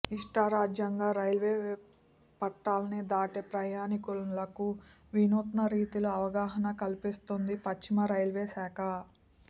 ఇష్టారాజ్యంగా రైల్వే పట్టాల్ని దాటే ప్రయాణికులకు వినూత్నరీతిలో అవగాహన కల్పిస్తోంది పశ్చిమ రైల్వేశాఖ